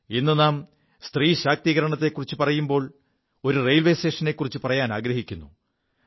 ഇ് നാം സ്ത്രീ ശാക്തീകരണത്തെക്കുറിച്ചു പറയുമ്പോൾ ഒരു റെയിൽവേ സ്റ്റേഷനെക്കുറിച്ചു പറയാനാഗ്രഹിക്കുു